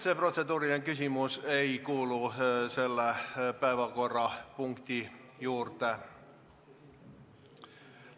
See protseduuriline küsimus ei kuulu selle päevakorrapunkti juurde.